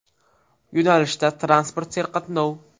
Yo‘nalishda transport serqatnov.